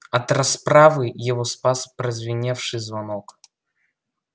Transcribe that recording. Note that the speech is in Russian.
от расправы его спас прозвеневший звонок